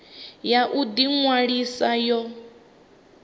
ya u ḓi ṅwalisa yo